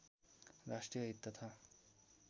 राष्ट्रिय हित तथा